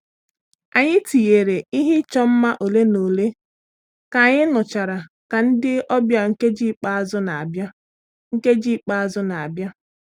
Anyị tiyere ihe ịchọ mma ole na ole ka anyị nụchara ka ndị ọbịa nkeji ikpeazụ na-abịa. nkeji ikpeazụ na-abịa.